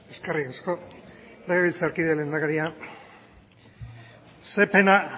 eskerrik asko legebiltzarkide lehendakaria ze pena